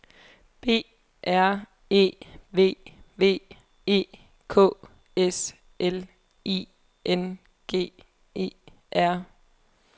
B R E V V E K S L I N G E R